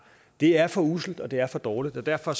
det er for usselt og det er for dårligt og derfor